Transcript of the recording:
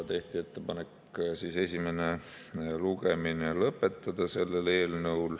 Tehti ettepanek eelnõu esimene lugemine lõpetada.